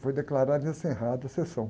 Foi declarada encerrada a sessão.